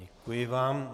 Děkuji vám.